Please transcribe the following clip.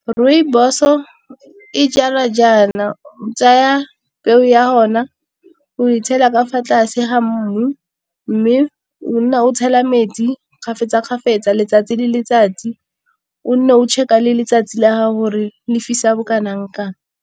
Rooibos o e jalwa jaana o tsaya peo ya hona o e tshela ka fa tlase ga mmu mme o nna o tshela metsi kgafetsa kgafetsa letsatsi le letsatsi o nne o check a le letsatsi la hore lefisa bo kanang kang.